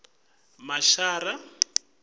mashara